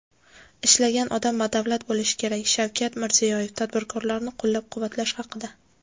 "Ishlagan odam badavlat bo‘lishi kerak" — Shavkat Mirziyoyev tadbirkorlarni qo‘llab-quvvatlash haqida.